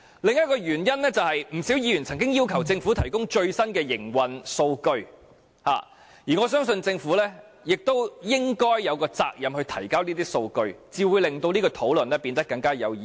另一個原因是，不少議員曾經要求政府提供最新的營運數據，我相信政府有責任提交這些數據，這樣才會令這項討論變得更有意義。